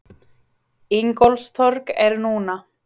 Ingólfstorg er núna.